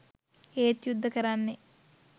ඒත් යුද්ද කරන්නෙ